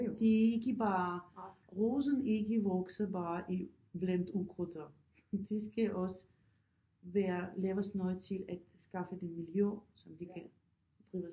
Det er ikke bare rosen ikke vokser bare i blandt ukrudt op det skal også være laves noget til at skaffe det miljø som de kan trives